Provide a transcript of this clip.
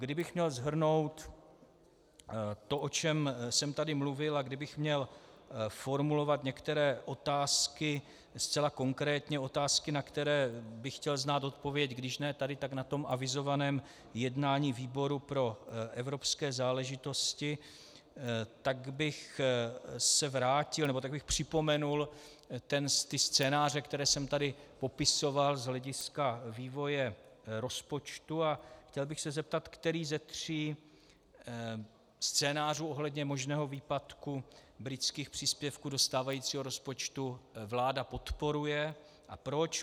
Kdybych měl shrnout to, o čem jsem tady mluvil, a kdybych měl formulovat některé otázky zcela konkrétně, otázky, na které bych chtěl znát odpověď když ne tady, tak na tom avizovaném jednání výboru pro evropské záležitosti, tak bych se vrátil, nebo tak bych připomenul scénáře, které jsem tady popisoval z hlediska vývoje rozpočtu, a chtěl bych se zeptat, který ze tří scénářů ohledně možného výpadku britských příspěvků do stávajícího rozpočtu vláda podporuje a proč.